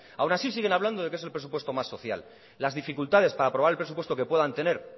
aún así siguen hablando de que es el presupuesto más social las dificultades para aprobar el presupuesto que puedan tener